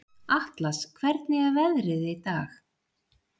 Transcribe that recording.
Atlas, hvernig er veðrið í dag?